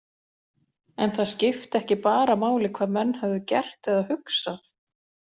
En það skipti ekki bara máli hvað menn höfðu gert eða hugsað.